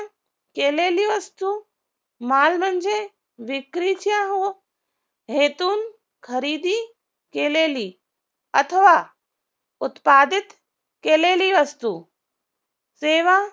केलेली वस्तू माल म्हणजे विक्रीच्या हो हेतून खरेदी केलेली अथवा उत्पादित केलेली असतो सेवा